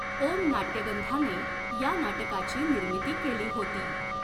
ओम् नाटय़गंधा ने या नाटकाची निर्मिती केली होती.